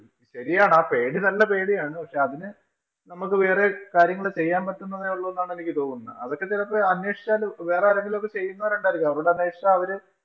ശരിയാണ് ആ പേടി നല്ല പേടിയാണ്. പക്ഷേ അതിന് നമ്മക്ക് വേറേം കാര്യം കൂടെ ചെയ്യാന്‍ പറ്റുന്നതെ ഒള്ളൂ എന്നാണ് എനിക്ക് തോന്നുന്നത്. അതൊക്കെ ചെലപ്പോ അന്വേഷിച്ചാല് വേറെ ആരെങ്കിലും ഒക്കെ ചെയ്യുന്നവരുണ്ടായിരിക്കും. അവരോട് അന്വേഷിച്ചാ അവര്